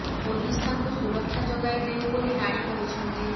police ତାଙ୍କୁ ସୁରକ୍ଷା ଯୋଗାଇ ଦେଉ ବୋଲି ରାଣୀ କହିଛନ୍ତି